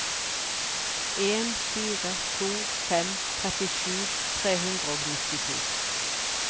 en fire to fem trettisju tre hundre og nittito